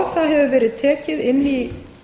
það hefur verið tekið inn í